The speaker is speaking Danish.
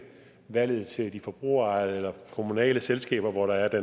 valget til de forbrugerejede eller kommunale selskaber der